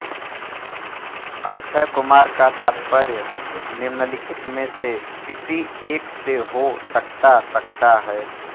अक्षय कुमार का तात्पर्य निम्नलिखित में से किसी एक से हो सकता सकता है